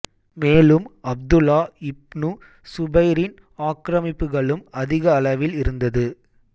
மேலும் Abdullah ibn சுபைரின் ஆக்கிரமிப்புகளும் அதிக அளவில் இருந்தது